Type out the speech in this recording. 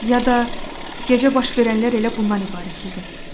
Ya da gecə baş verənlər elə bunlardan ibarət idi.